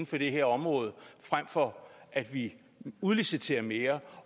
for det her område frem for at vi udliciterer mere